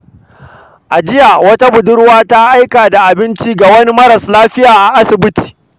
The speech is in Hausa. A jiya, wata budurwa ta aika da abinci ga wani maras lafiya a asibiti.